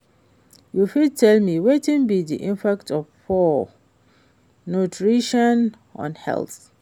You fit tell me wetin be di impact of poor nutrition on health?